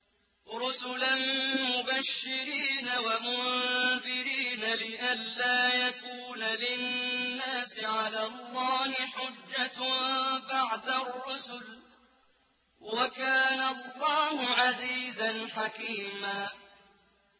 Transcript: رُّسُلًا مُّبَشِّرِينَ وَمُنذِرِينَ لِئَلَّا يَكُونَ لِلنَّاسِ عَلَى اللَّهِ حُجَّةٌ بَعْدَ الرُّسُلِ ۚ وَكَانَ اللَّهُ عَزِيزًا حَكِيمًا